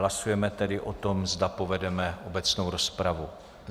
Hlasujeme tedy o tom, zda povedeme obecnou rozpravu.